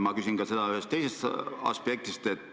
Ma küsin seda ka ühest teisest aspektist.